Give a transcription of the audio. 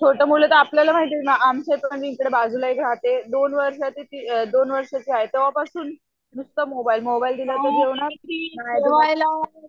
छोटे मुलं तर आपल्याला माहिती ये ना आमच्या इकडे पण बाजूला एक राहते, दोन वर्षाची दोन वर्षाची ती आहे तेंव्हापासुन, नुसतं मोबाईल मोबाईल दिला तर जेवणार,